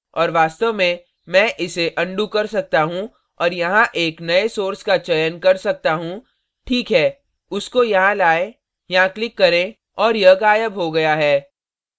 और वास्तव में मैं इसे अनडू undo कर सकता हूँ और यहाँ एक नए source का चयन कर सकता हूँ ठीक है उसको यहाँ लाएं यहाँ click करें और यह गायब हो गया है